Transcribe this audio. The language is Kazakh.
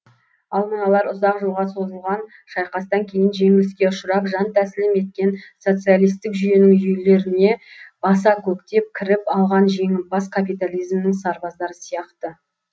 ал мыналар ұзақ жылға созылған шайқастан кейін жеңіліске ұшырап жантәсілім еткен социалистік жүйенің үйлеріне баса көктеп кіріп алған жеңімпаз капитализмнің сарбаздары сияқты